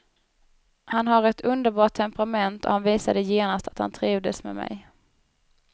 Han har ett underbart temperament och han visade genast att han trivdes med mig.